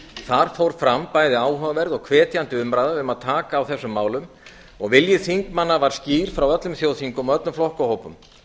þar fór fram bæði áhugaverð og hvetjandi umræða um að taka á þessum málum og vilji þingmanna var skýr frá öllum þjóðþingum og öllum flokkahópum